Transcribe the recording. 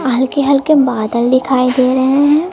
हल्के हल्के बादल दिखाई दे रहे हैं।